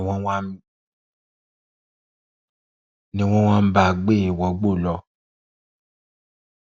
ni wọn bá gbé e wọgbó lọ